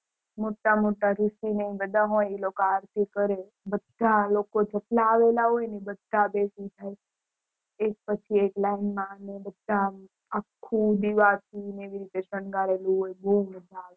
મોટા મોટા ઋષિ ને બધા હોય ને એ લોકો આરતી કરે બધા લોકો જેટલા આવેલા હોય ને એ બધા બેસી જાય એક પછી એક line માં ને બધા અમ આખું દીવાથી એવાથી શાનઘરેલું હોય બૌ મજા આવે